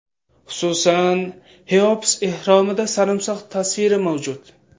Xususan, Xeops ehromida sarimsoq tasviri mavjud.